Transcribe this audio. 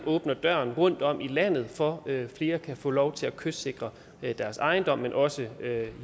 dørene rundtom i landet for at flere kan få lov til at kystsikre deres ejendom men også